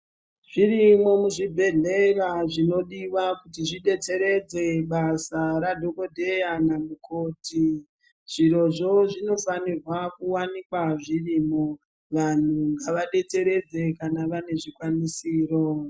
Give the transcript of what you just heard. Zvirimwo muzvibhedhlera zvinodiwa kuti zvidetseredze basa radhogodheya namukoti. Zvirozvo zvinofairwa kuwanikwa zvirimo. Vanhu ngavadetseredze kana vane zvikwanisiro.